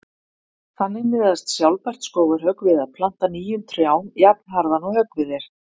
Þannig miðast sjálfbært skógarhögg við að planta nýjum trjám jafnharðan og höggvið er.